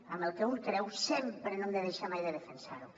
amb el que un creu sempre no hem de deixar mai de defensar ho